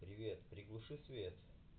привет приглуши свет